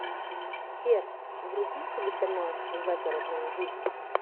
сбер вруби телеканал загородная жизнь